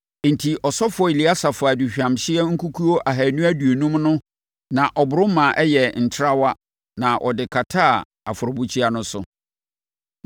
Enti, ɔsɔfoɔ Eleasa faa aduhwamhyeɛ nkukuo ahanu aduonum no na ɔboro ma ɛyɛɛ ntrawa na ɔde kataa afɔrebukyia no so,